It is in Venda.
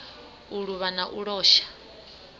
u luvha na u losha